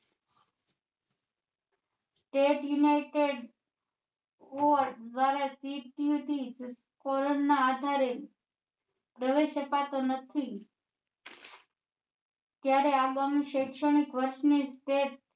State united દ્વારા ના આધારે પ્રવેશ અપાતો નથી ક્યારે આગળ નું સૈક્ષણિક વધશે તે